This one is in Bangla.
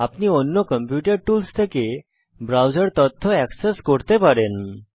আপনি অন্য কম্পিউটার টুলস থেকে ব্রাউজার তথ্য অ্যাক্সেস করতে পারেন